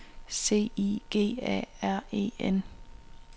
C I G A R E N